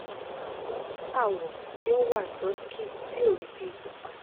mo ni awo ti o wa dusky ti o ri bi pupa